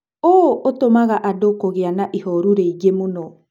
ũũ ũtũmaga andũ kũgĩa na ihoru rĩingĩ mũno.